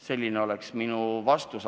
Selline oleks minu vastus.